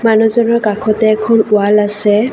মানুহজনৰ কাষতে এখন ৱাল আছে।